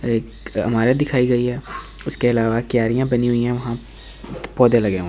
एक इमारत दिखाई गई है उसके अलावा क्यारियाँ बनी हुई है वहाँ पौधे लगे हुए है।